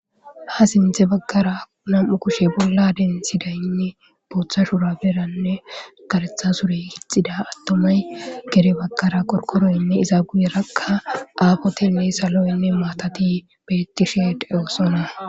Ha sintze baggara nam'u kushe bolla densidaynne booththashura beranne garetha surey hixida attomay gere baggara qorkoroynne iza guyerakka aafoteynne saloynne maatati bettisheedewosona.